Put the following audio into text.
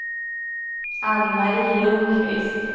Ann-Mari Lundqvist